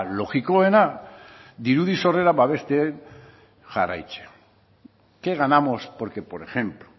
logikoena dirudi sorrera babesten jarraitzen qué ganamos porque por ejemplo